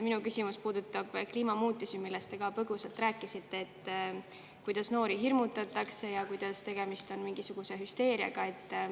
Minu küsimus puudutab kliimamuutusi, millest te ka põgusalt rääkisite,, et noori hirmutatakse ja tegemist on mingisuguse hüsteeriaga.